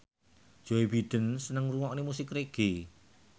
Joe Biden seneng ngrungokne musik reggae